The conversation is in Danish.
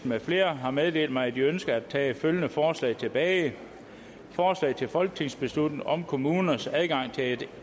med flere har meddelt mig at de ønsker at tage følgende forslag tilbage forslag til folketingsbeslutning om kommuners adgang